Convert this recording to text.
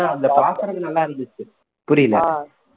பாக்கறதுக்கு நல்லா இருந்துச்சு புரியல